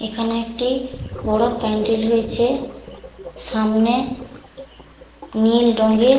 এখানে একটি বড় প্যান্ডেল হয়েছে। সামনে নীল রঙের--